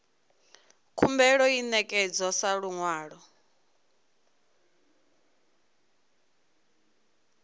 khumbelo i ṋekedzwa sa luṅwalo